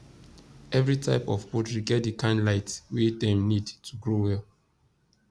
every type of poultry get the kind light wey dem need to grow well